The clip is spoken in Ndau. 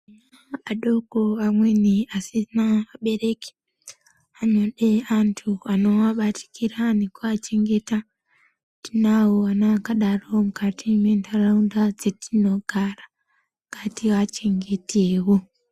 Adoko amweni asina vabereki anode antu anowabatikira ngekuwachengeta. Tinawo ana akadai mukati mentaraunda dzetinogara, ngatiachengetewo.